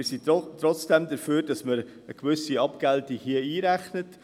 Wir sind trotzdem dafür, dass man hier eine gewisse Abgeltung einrechnet.